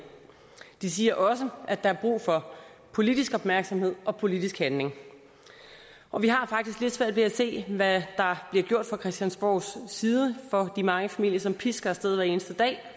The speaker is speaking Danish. de siger også at der er brug for politisk opmærksomhed og politisk handling og vi har faktisk lidt svært ved at se hvad der bliver gjort fra christiansborgs side for de mange familier som pisker af sted hver eneste dag